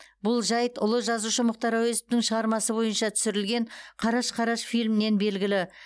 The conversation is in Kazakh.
бұл жәйт ұлы жазушы мұхтар әуезовтің шығармасы бойынша түсірілген қараш қараш фильмінен белгілі